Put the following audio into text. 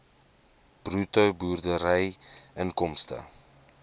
bruto boerderyinkomste